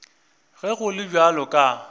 ge go le bjalo ka